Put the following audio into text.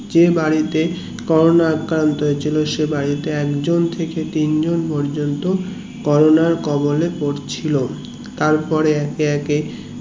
যে বাড়িতে করোনা আক্রান্ত হৈছিল সে বাড়িতে একজন থেকে তিন জন পর্যন্ত কোরোনার কবল এ পড়ছিলো তারপরে একে একে